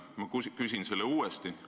Ma küsin selle uuesti.